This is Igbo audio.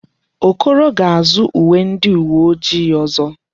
Okoro ga-azụ uwe ndi uwe ojii ọzọ.